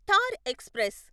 Thar express